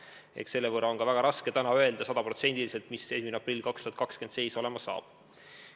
Eks seetõttu ole täna ka väga raske sajaprotsendiselt öelda, mis seis meil 2020. aasta aprillis olema saab.